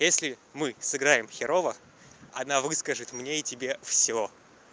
если мы сыграем херово она выскажет мне и тебе всё